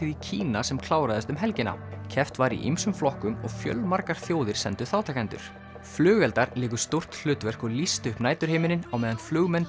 í Kína sem kláraðist um helgina keppt var í ýmsum flokkum og fjölmargar þjóðir sendu þátttakendur flugeldar léku stórt hlutverk og lýstu upp næturhimininn á meðan flugmenn